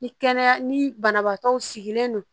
Ni kɛnɛya ni banabaatɔw sigilen don